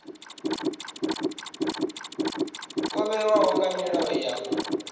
o vhewaho nga milayo ya